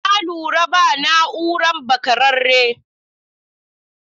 Na lura ba na'uran bakarare.